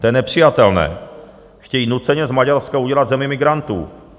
To je nepřijatelné, chtějí nuceně z Maďarska udělat zemi migrantů.